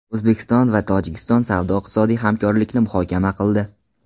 O‘zbekiston va Tojikiston savdo-iqtisodiy hamkorlikni muhokama qildi.